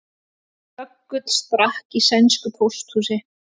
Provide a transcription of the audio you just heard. Böggull sprakk í sænsku pósthúsi